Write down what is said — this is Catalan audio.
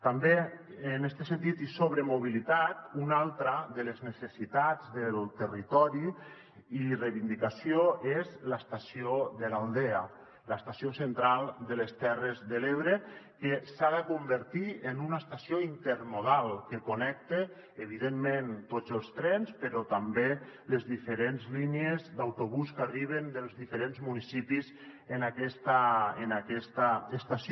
també en este sentit i sobre mobilitat una altra de les necessitats del territori i reivindicació és l’estació de l’aldea l’estació central de les terres de l’ebre que s’ha de convertir en una estació intermodal que connecti evidentment tots els trens però també les diferents línies d’autobús que arriben dels diferents municipis en aquesta estació